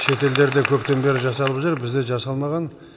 шетелдерде көптен бері жасалып жүр бізде жасалмаған